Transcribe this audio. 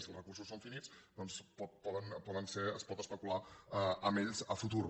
si els recursos són finits doncs es pot especular amb ells a futur